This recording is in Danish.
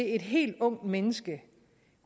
et helt ungt menneske